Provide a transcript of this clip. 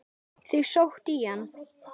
Þau sóttu í hann.